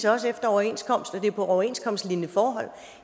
også efter overenskomst og på overenskomstlignende forhold